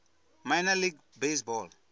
minor league baseball